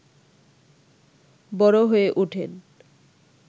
বড় হয়ে ওঠেন